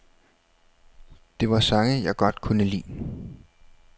Det var sange, jeg godt kunne lide.